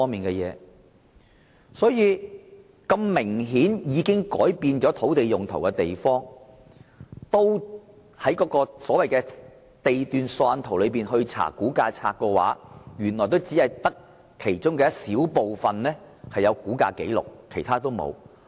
即使是明顯已改變土地用途的地段，但按照地段索引圖再翻查估價冊，也只有很小部分有估價紀錄，其他一概沒有。